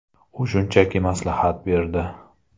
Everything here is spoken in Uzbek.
U shunchaki maslahat berdi.